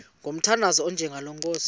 ngomthandazo onjengalo nkosi